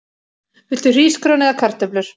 Viltu hrísgrjón eða kartöflur?